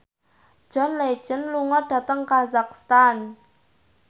John Legend lunga dhateng kazakhstan